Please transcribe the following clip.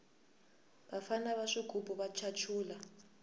vafana va swigubu va chachula